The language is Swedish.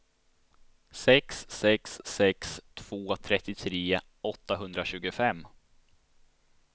sex sex sex två trettiotre åttahundratjugofem